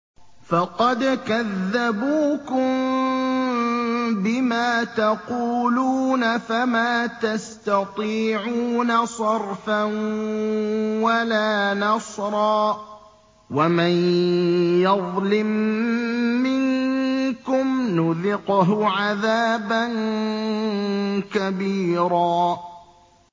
فَقَدْ كَذَّبُوكُم بِمَا تَقُولُونَ فَمَا تَسْتَطِيعُونَ صَرْفًا وَلَا نَصْرًا ۚ وَمَن يَظْلِم مِّنكُمْ نُذِقْهُ عَذَابًا كَبِيرًا